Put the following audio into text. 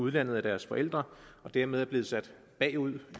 udlandet af deres forældre og dermed er blevet sat bagud